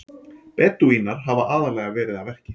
Bedúínar hafa aðallega verið að verki.